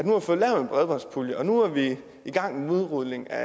nu har fået lavet en bredbåndspulje og nu er i gang med udrulning af